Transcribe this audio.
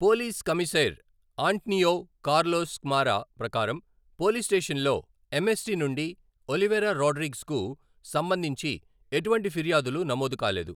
Police కమీసైర్ Antonio Carlos Camara ప్రకారం, police స్టేషన్లో ఎంఎస్టి నుండి ఒలివెరా రోడ్రిగ్స్కు సంబంధించి ఎటువంటి ఫిర్యాదులు నమోదు కాలేదు.